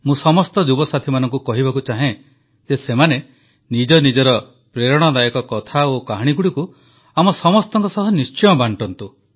ମୁଁ ସମସ୍ତ ଯୁବସାଥୀମାନଙ୍କୁ କହିବାକୁ ଚାହେଁ ଯେ ସେମାନେ ନିଜ ନିଜର ପ୍ରେରଣାଦାୟକ କଥା ଓ କାହାଣୀଗୁଡ଼ିକୁ ଆମ ସମସ୍ତଙ୍କ ସହ ନିଶ୍ଚୟ ବାଂଟନ୍ତୁ